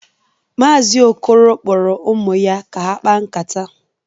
Maazi Okoro kporo ụmụ ya ka ha kpaa nkata